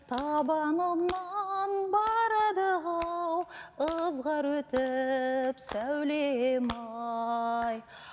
табанымнан барады ау ызғар өтіп сәулем ай